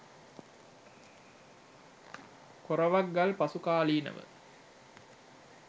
කොරවක් ගල් පසුකාලීනව